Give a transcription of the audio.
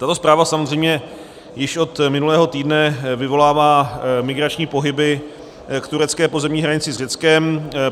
Tato zpráva samozřejmě již od minulého týdne vyvolává migrační pohyby k turecké pozemní hranici s Řeckem.